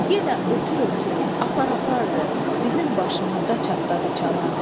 Yenə ötür-ötür, apar-apardır, bizim başımızda çatladı çanaq.